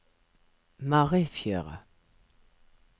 Marifjøra